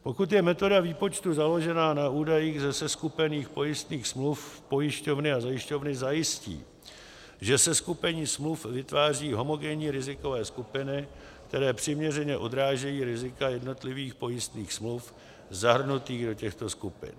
Pokud je metoda výpočtu založena na údajích ze seskupených pojistných smluv, pojišťovny a zajišťovny zajistí, že seskupení smluv vytváří homogenní rizikové skupiny, které přiměřeně odrážejí rizika jednotlivých pojistných smluv zahrnutých do těchto skupin.